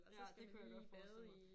Ja det kunne jeg godt forestille mig